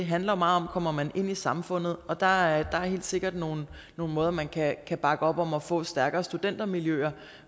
handler meget om at man ind i samfundet og der er helt sikkert nogle måder man kan kan bakke op om at få stærkere studentermiljøer